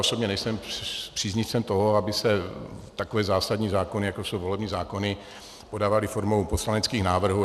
Osobně nejsem příznivcem toho, aby se takové zásadní zákony, jako jsou volební zákony, podávaly formou poslaneckých návrhů.